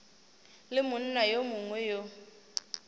le monna yo mongwe yo